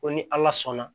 Ko ni ala sɔnna